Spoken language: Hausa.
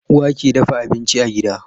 Uwa ke dafa abinci a gida